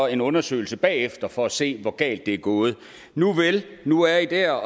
en undersøgelse bagefter for at se hvor galt det er gået nuvel nu er i der